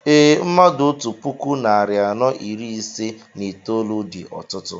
Ee, mmadụ otú puku narị anọ iri ise na itolu dị ọtụtụ